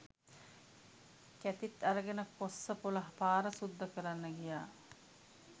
කැතිත් අරගෙන කොස්සපොල පාර සුද්ද කරන්න ගියා